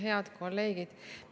Head kolleegid!